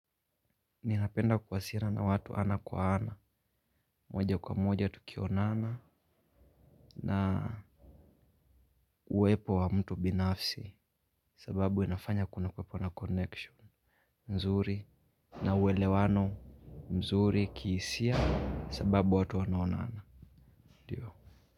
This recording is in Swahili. Ninapenda kuwasiliana na watu ana kwa ana moja kwa moja tu kuonana na uwepo wa mtu binafsi sababu inafanya kuna kwepo na connection mzuri na uelewano mzuri kihisia sababu watu wanaonana ndiyo.